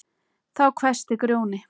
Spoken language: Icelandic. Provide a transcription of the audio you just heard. Þá hvæsti Grjóni